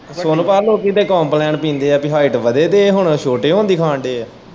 ਸੋਨੂੰ ਭਾ ਲੋਕੀ ਤੇ ਕੰਪਲੈਨ ਪੀਂਦੇ ਪੀ ਹਾਇਟ ਵੱਧੇ ਤੇ ਏਹ ਹੁਣ ਛੋਟੇ ਹੋਣ ਦੀ ਖਾਣ ਦੇ ਐ।